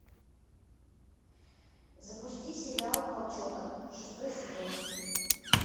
запусти сериал волчонок шестой сезон